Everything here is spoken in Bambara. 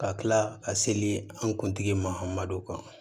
Ka kila ka seli an kuntigi ma an ma don kan